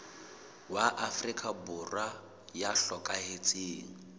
wa afrika borwa ya hlokahetseng